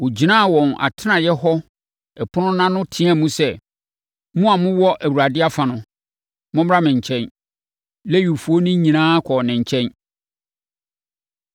ɔgyinaa wɔn atenaeɛ hɔ ɛpono no ano teaam sɛ, “Mo a mowɔ Awurade afa no, mommra me nkyɛn.” Lewifoɔ no nyinaa kɔɔ ne nkyɛn.